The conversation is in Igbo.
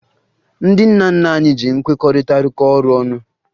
Ndị nna nna anyị ji nkwekọrịta rụkọọ ọrụ ọnụ